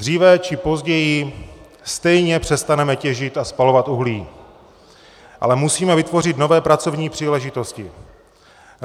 Dříve či později stejně přestaneme těžit a spalovat uhlí, musíme ale vytvořit nové pracovní příležitosti.